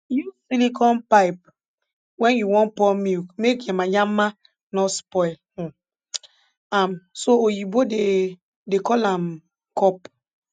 use silicone pipe wen u wan pour milk make yamayama nor spoil um am so oyibo dey dey call am cup